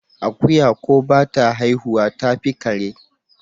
Akuya ko bata haihuwa tafi kare?